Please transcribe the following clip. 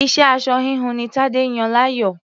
Iṣẹ́ aṣọ-híhun ni Tadé yàn láàyò.